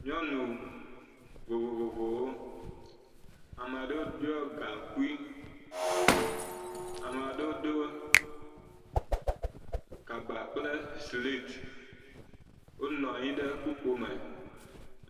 Nyɔnu vovovowo. Ame aɖewo ɖiɔ gaŋkui. Ame aɖewo do kaba kple siliti. Wonɔ anyi ɖe kpukpoe me.